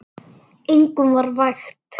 Engum var vægt.